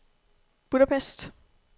Budapest